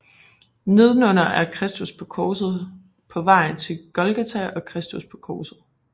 Nedenunder er Kristus med korset på vejen til Golgata og Kristus på korset